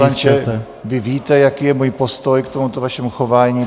Pane poslanče, vy víte, jaký je můj postoj k tomuto vašemu chování.